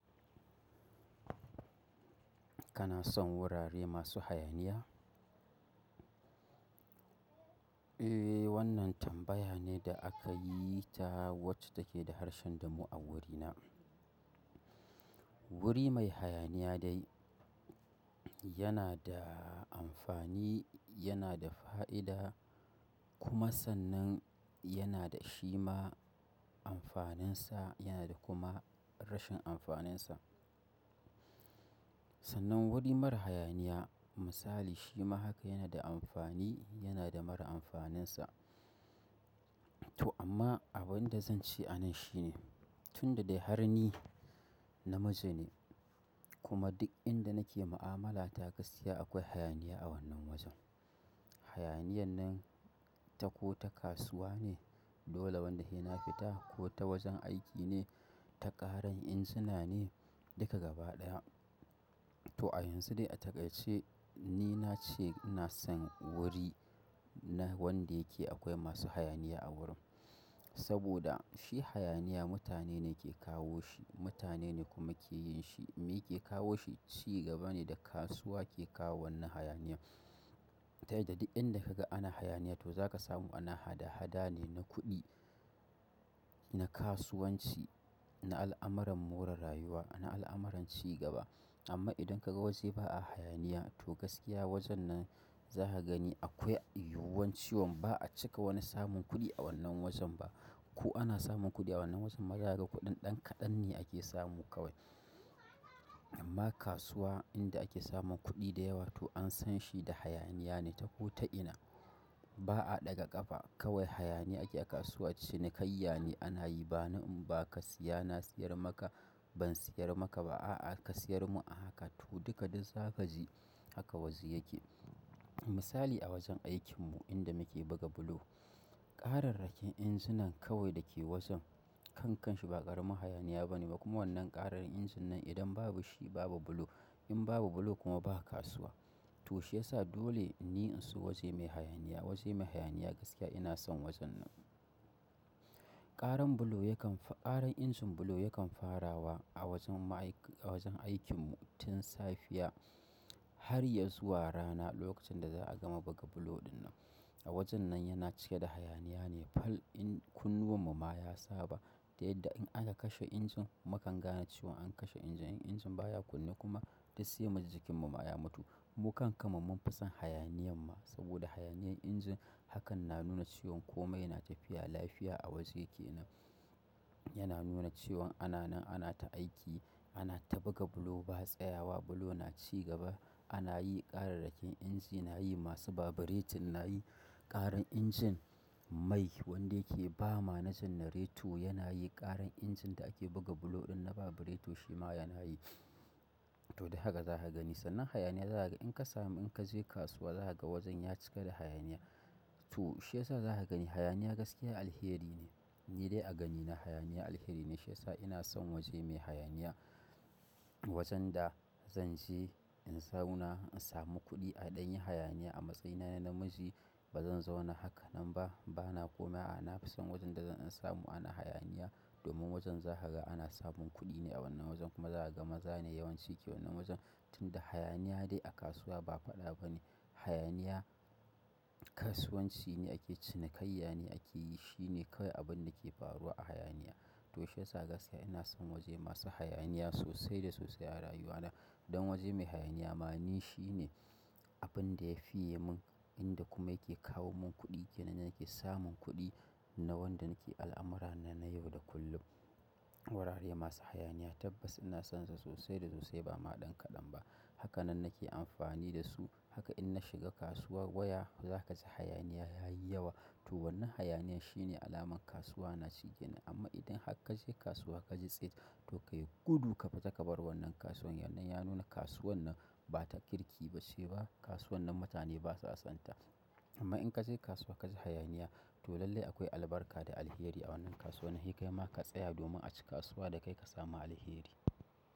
Kana son wurare masu hayaniya? Eh, wannan tambaya ne da aka yi ta wacce take da harshen damo a wurina. Wuri mai hayaniya dai yana da amfani, yana da fa'ida kuma sannan yana da shi ma amfaninsa, yana da kuma rashin amfaninsa. Sannan wuri mara hayaniya misali shi ma haka yana da amfani, yana da mara amfaninsa. Toh amma abin da zan ce a nan shine, tunda dai har ni namiji ne kuma duk inda nake mu'amala ta gaskiya akwai hayaniya a wannan wajen. Hayaniyan nan ta ko ta kasuwa ne, dole wanda he na fita ko ta wajen aiki ne, ta ƙaran injina ne, duka gaba ɗaya. Toh a yanzu dai a taƙaice ni na ce ina son wuri na wanda yake akwai masu hayaniya a wurin. Saboda shi hayaniya mutane ne ke kawo shi, mutane ne kuma ke yin shi. Me ke kawo shi? Cigaba ne da kasuwa ke kawo wannan hayaniya. Ta yadda duk inda kaga ana hayaniya to za ka samu ana hada-hada ne na kuɗi, na kasuwanci, na al'amuran more rayuwa, na al'amuran ci gaba. Amma idan kaga waje ba a hayaniya, to gaskiya wajen nan za ka gani akwai yuwuwan cewan ba'a cika wani samun kuɗi a wannan wajen ba. Ko ana samun kuɗi a wannan wajen ma zakaga kuɗin ɗan kaɗan ne ake samu kawmaza ga kuɗin ɗan kaɗan ne ake samu kawai. Amma kasuwa inda ake samun kuɗi da yawa to an san shi da hayaniya ne ta ko ta ina. Ba'a ɗaga ƙafa kawai hayaniya ake a kasuwa cinikayayya ne ana yi. Ba ni in ba ka siya na siyar maka, ban siyar maka ba, a'a ka siyar mun a haka. To duka duk zakaji haka waje yake. Misali a wajen aikin mu inda muke buga bulo, ƙararrakin injina kawai dake wajen kan kanshi ba ƙaramin hayaniya ba ne ba. Kuma wannan ƙarar injin nan idan babu shi babu bulo. In babu bulo kuma ba kasuwa. Toh shiyasa dole ni in so waje mai hayaniya, waje mai hayaniya gaskiya ina son wajen nan. Ƙaran bulo yakan fa, ƙaran injin bulo yakan farawa a wajen ma'aikata a wajen aikin mu tun safiya har ya zuwa rana lokacin da za'a gama buga bulo ɗinnan. A wajen nan yana cike da hayaniya ne fa in kunnuwan mu ma ya saba. Ta yadda in aka kashe injin mu kan gane cewan an kashe injin. Injin baya kunne kuma baya gudu. Mu kam kaman mun fi son hayaniyan ma. Saboda hayaniyan injin hakan na nuna cewan kome yana tafiya, lafiya a waje kenan. Yana nuna cewan ana nan, ana ta aiki, ana ta buga bulo ba tsayawa, bulo na ci gaba. Ana yi ƙararrakin inji, nayi masu baburetin nayi, ƙaran injin mai wanda yake ba ma generator yana yin ƙara, ƙaran injin da ake buga bulo ɗin na baburetu shi ma yanayi. Toh da haka zaka gani su sannan hayaniya zakaga in ka samu in ka je kasuwa za ka ga wajen ya cika da hayaniya. To shi yasa za ka gani hayaniya gaskiya alheri ne. Ni dai a ganina hayaniya alheri ne. Shi yasa ina son waje mai hayaniya. Wajen da zan je in zauna in samu kuɗi a ɗan yi hayaniya a matsayina na namiji ba zan zauna haka nan ba. Bana kuma a'a nafison wajen da zan in samu ana hayaniya. Domin wajen zaka ga ana samun kuɗi ne a wannan wajen kuma za ka ga maza ne yawanci ke wannan wajen. Tunda hayaniya dai a kasuwa ba faɗa ba ne. Hayaniya, kasuwanci ne ake cinikayya ne ake yi. Shi ne kawai abin da ke faruwa a hayaniya. Toh shiyasa gaskiya ina son waje masu hayaniya sosai da sosai a rayuwa na. Don waje mai hayaniya ma ni shi ne abin da ya fiye mun, inda kuma yake kawo mun kuɗi. Kenan yake samun kuɗi na wanda nake al'amurana na yau da kullum. Wurare masu hayaniya tabbas ina sonsu sosai da sosai ba ma ɗan kaɗan ba. Haka nan nake amfani da su. Haka in na shiga kasuwarbwaya za ka ji hayaniya yayi yawa. Toh wannan hayaniya shi ne alamar kasuwa na ci kenan. Amma idan har kaje kasuwa kaji tsit, toh kayi gudu ka fita ka bar wannan kasuwar domin ya nuna kasuwar nan ba ta kirki bace ba, kasuwan nan mutane basa son ta. Amma in ka je kasuwa ka ji hayaniya toh lallai akwai albarka da alheri a wannan kasuwan. He kai ma ka tsaya domin a ci kasuwa da kai ka samu alheri.